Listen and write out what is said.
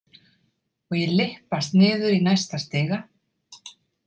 Og ég lyppast niður í næsta stiga.